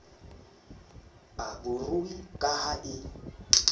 a barui ka ha e